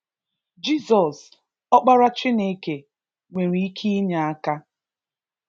Jizọs, Ọkpara Chineke, nwere ike inye aka.